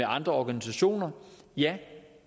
andre organisationer ja